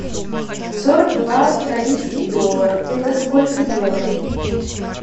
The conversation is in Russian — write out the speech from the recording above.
сорок два австралийский доллар это сколько евро